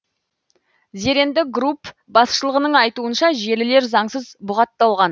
зеренді групп басшылығының айтуынша желілер заңсыз бұғатталған